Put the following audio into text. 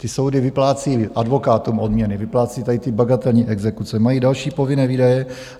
Ty soudy vyplácí advokátům odměny, vyplácí tady ty bagatelní exekuce, mají další povinné výdaje.